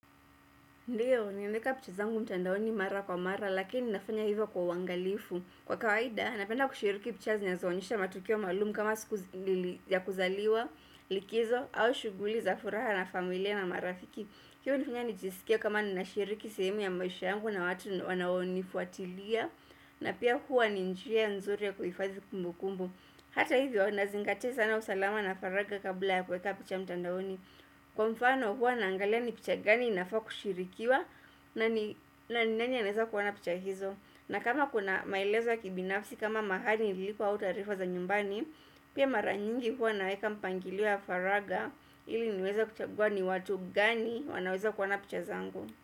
Ndiyo, ninaeka picha zangu mtandaoni mara kwa mara, lakini nafanya hivyo kwa uwangalifu. Kwa kawaida, napenda kushiriki picha zenye zinaonyesha matukio maalumu kama siku ya kuzaliwa, likizo, au shuguhli za furaha na familia na marafiki. Hiyo hunifanya nijisikie kama ninashiriki sehemu ya maisha yangu na watu wanaonifuatilia, na pia huwa ni njia nzuri ya kuhifadhi kumbu kumbu. Hata hivyo, nazingatia sana usalama na faraga kabla ya kuweka picha mtandaoni. Kwa mfano huwa naangalia ni picha gani inafa kushirikiwa na ni na ni nani aneza kuona picha hizo. Na kama kuna maelezo ya kibinafsi kama mahali ilipo au taarifa za nyumbani Pia mara nyingi huwa naeka mpangilio wa faraga ili niweze kuchagua ni watu gani wanaweza kuona picha zangu.